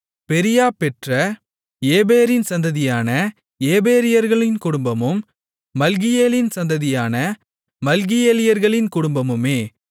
பெரீயா பெற்ற ஏபேரின் சந்ததியான ஏபேரியர்களின் குடும்பமும் மல்கியேலின் சந்ததியான மல்கியேலியர்களின் குடும்பமுமே